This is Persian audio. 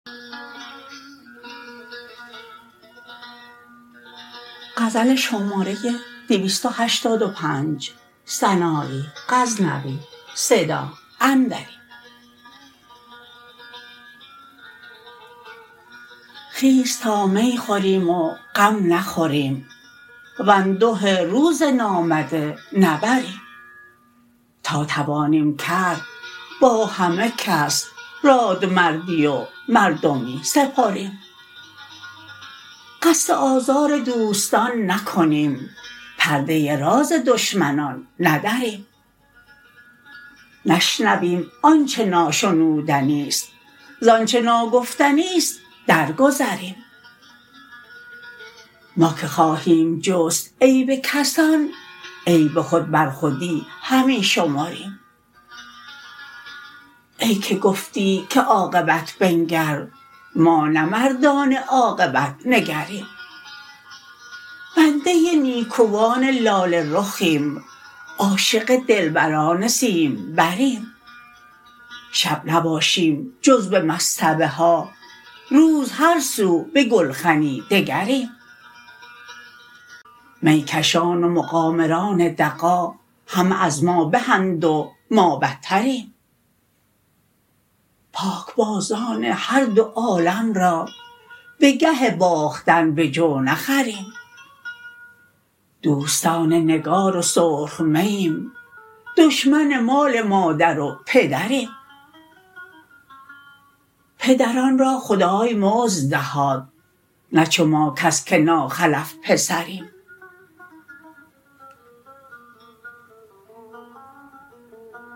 خیز تا می خوریم و غم نخوریم وانده روز نامده نبریم تا توانیم کرد با همه کس رادمردی و مردمی سپریم قصد آزار دوستان نکنیم پرده راز دشمنان ندریم نشنویم آنچه ناشنودنیست زانچه ناگفتنیست درگذریم ما که خواهیم جست عیب کسان عیب خود بر خودی همی شمریم ای که گفتی که عاقبت بنگر ما نه مردان عاقبت نگریم بنده نیکوان لاله رخیم عاشق دلبران سیمبریم شب نباشیم جز به مصطبه ها روز هر سو به گلخنی دگریم می کشان و مقامران دغا همه از ما بهند و ما بتریم پاکبازان هر دو عالم را به گه باختن به جو نخریم دوستار نگار و سرخ مییم دشمن مال مادر و پدریم پدران را خدای مزد دهاد نه چو ما کس که ناخلف پسریم